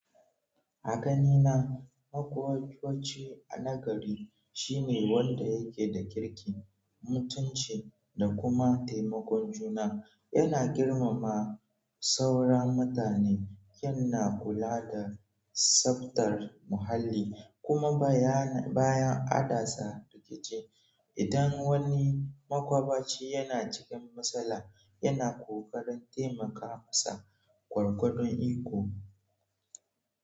A ganina, makwabci wace na gari shine wanda yake da kirki, mutunci da kuma taimakon juna. Ina girmama sauran mutane ina kula d tsaftar mahalli kuma baya nan akasa idan wani makwabcai yana cikin matsala, yana kokarin taimaka masa gwargwadon iko.